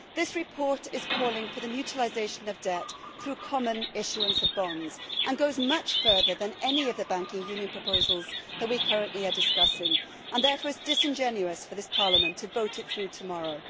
This report is calling for the mutualisation of debt through common issuance of bonds and goes much further than any of the banking union proposals that we are currently discussing. Therefore it is disingenuous for this Parliament to vote it through tomorrow.